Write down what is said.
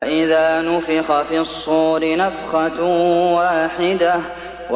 فَإِذَا نُفِخَ فِي الصُّورِ نَفْخَةٌ وَاحِدَةٌ